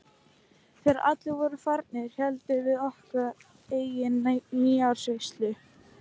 Þegar allir voru farnir héldum við okkar eigin nýársveislu.